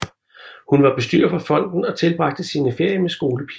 Hun var bestyrer for fonden og tilbragte sine ferier med skolepigerne